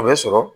A bɛ sɔrɔ